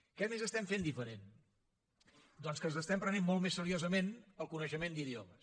què més estem fent diferent doncs que ens estem prenent molt més seriosament el coneixement d’idiomes